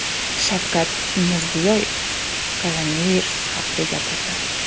Shavkat Mirziyoyev koronavirus haqida gapirdi .